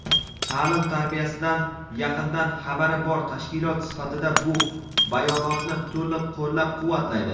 ta’lim-tarbiyasidan yaqindan xabari bor tashkilot sifatida bu bayonotni to‘liq qo‘llab-quvvatlaydi.